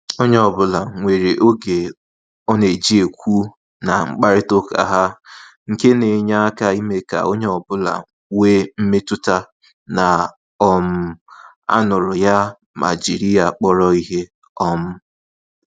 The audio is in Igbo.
Onye ọbụla nwere oge ọ na-eji ekwu na-mkparịta uka ha, nke na enye aka ime ka onye ọ bụla wee mmetụta na um anuru ya ma jiri ya kpọrọ ihe um